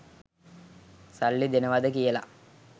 සල්ලි දෙනවද කියලා.